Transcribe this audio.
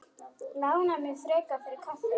Lánaðu mér frekar fyrir kaffi.